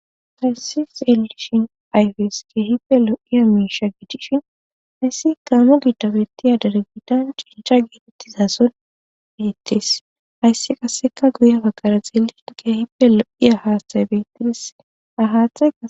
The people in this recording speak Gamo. Faynsi xeeishin ayfes keehipe lo'iya miisha giidishin hayssi gaammo giddabettiyadare giidan cincha geetettizason beettis hayssi qasseka guye baggara xeeliin keehipelo'iya haastay bettidis ahaathe